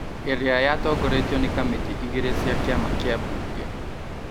ĩrĩa yatongoretio nĩ Kamĩtĩ igĩrĩ cia Kĩama kĩa mbunge